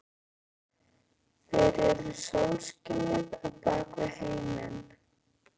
Þeir eru sólskinið á bak við heiminn.